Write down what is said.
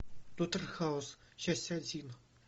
доктор хаус часть один